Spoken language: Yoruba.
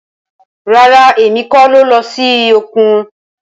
Rara, Emi ko lọ si okun.